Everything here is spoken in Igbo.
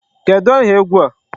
Kedụ aha egwu a?